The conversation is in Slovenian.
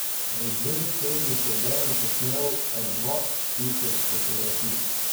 V dveh tednih je Dejan posnel kar dva tisoč fotografij.